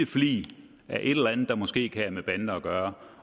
flig af et eller andet der måske kan have med bander at gøre